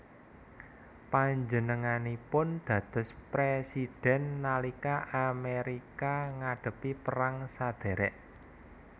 Panjenenganipun dados présidhèn nalika Amérika ngadhepi perang sadhèrèk